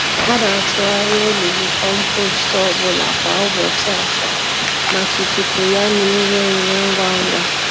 A na-atụgharị olulu kompost ọ bụla kwa ụbọchị asaa, maka ikuku ya na ire ure ngwa ngwa.